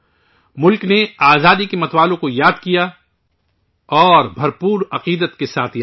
ملک میں اپنے آزادی کے ہیرو اور ہیرئنوں کو یاد کیا اور انہیں خراج عقیدت پیش کیا